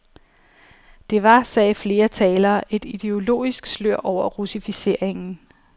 Det var, sagde flere talere, et ideologisk slør over russificeringen.